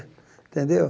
Entendeu?